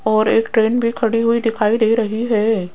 और एक ट्रेन भी खड़ी हुई दिखाई दे रही है।